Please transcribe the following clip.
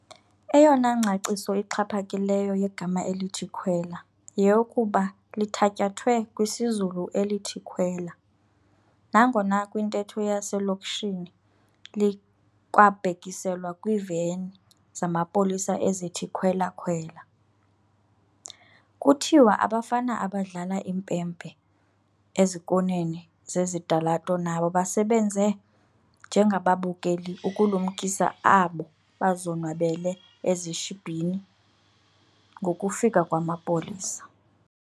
Eyona ngcaciso ixhaphakileyo yegama elithi "khwela" yeyokuba lithatyathwe kwisiZulu elithi "khwela" nangona kwintetho yaselokishini likwabhekiselwa kwiiveni zamapolisa ezithi "khwela-khwela". Kuthiwa abafana abadlala impempe ezikoneni zezitalato nabo basebenze njengababukeli ukulumkisa abo bazonwabele ezishibhini ngokufika kwamapolisa.